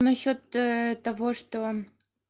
насчёт того что